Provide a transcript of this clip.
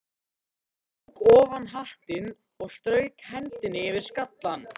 Hann tók ofan hattinn og strauk hendinni yfir skallann.